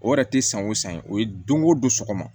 O yɛrɛ tɛ san o san ye o ye dongo don sɔgɔma